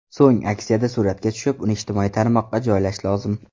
So‘ng aksiyada suratga tushib, uni ijtimoiy tarmoqqa joylash lozim.